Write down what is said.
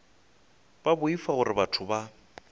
ba boifa gore batho ba